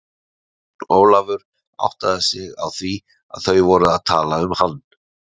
Jón Ólafur áttaði sig á því að þau voru að tala um hann.